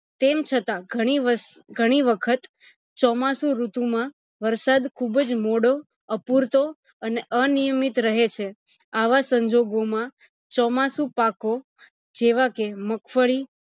તેમ છતાં ઘણી વસ ઘણી વખત ચોમાસું ઋતુ માં વરસાદ ખુબજ મોડો અપૂરતો અને અ નિયમિત રહે છે આવા સંજોગો માં ચોમાસું પાકો જેવા કે મગફળી